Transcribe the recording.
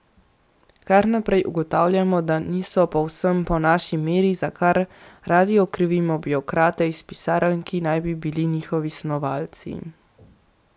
Kar naprej ugotavljamo, da niso povsem po naši meri, za kar radi okrivimo birokrate iz pisarn, ki naj bi bili njihovi snovalci.